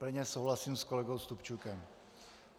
Plně souhlasím s kolegou Stupčukem.